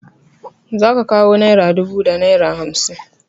Za ka kawo naira dubu da naira hamsin.